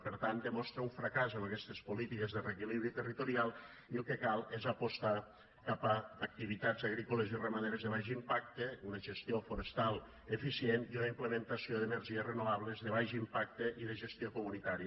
per tant demostra un fracàs amb aquestes polítiques de reequilibri territorial i el que cal és apostar cap a activitats agrícoles i ramaderes de baix impacte una gestió forestal eficient i una implementació d’energies renovables de baix impacte i de gestió comunitària